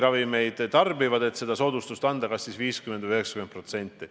Nemad saavad soodustust kas 50% või 90%.